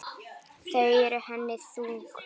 Þau eru henni þung.